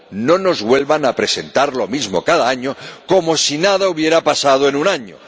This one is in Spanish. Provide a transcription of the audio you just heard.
No nos vuelvan a presentar lo mismo cada año, como si nada hubiera pasado en un año.